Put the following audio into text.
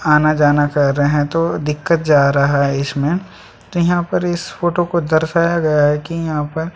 आना-जाना क्र रहे है तो दिक्कत जा रहा है इसमें तो यहाँ पर इस फोटो को दर्शाया गया है कि यहाँ पर--